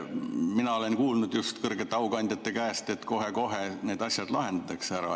Mina aga olen kuulnud kõrgete aukandjate käest, et kohe-kohe need asjad lahendatakse ära.